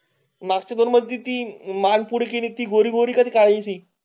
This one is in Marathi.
नागपूर मध्ये ती माल पुढे किती गोरी गोरी कधीकाळी.